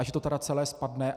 A že to tedy celé spadne.